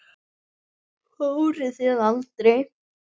Fóruð þið aldrei?